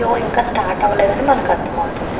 Show ఇంకా start అవ్వలేదని మనకు అర్థమవుతుంది.